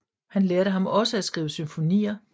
Han lærte ham også at skrive symfonier